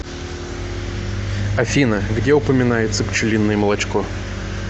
афина где упоминается пчелиное молочко